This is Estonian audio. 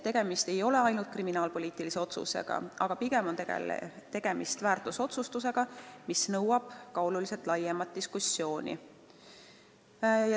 Tegemist ei ole ainult kriminaalpoliitiliste otsustega, pigem on tegemist väärtusotsustega, mis eeldab oluliselt laiemat diskussiooni.